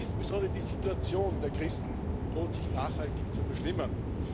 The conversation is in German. Insbesondere die Situation der Christen droht sich nachhaltig zu verschlimmern.